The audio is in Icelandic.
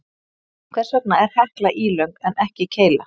Hvers vegna er Hekla ílöng en ekki keila?